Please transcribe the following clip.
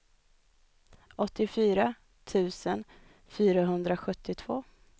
åttiofyra tusen fyrahundrasjuttiotvå